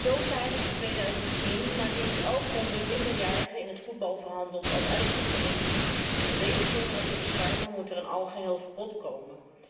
Zo zijn er in 2010 maar liefst 1100 minderjarigen in het voetbal verhandeld bij wijze van uitzondering. Om deze jongeren te beschermen moet er een algeheel verbod komen.